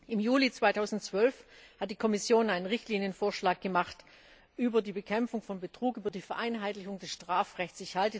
Im Juli 2012 hat die Kommission einen Richtlinienvorschlag gemacht über die Bekämpfung von Betrug, über die Vereinheitlichung des Strafrechts.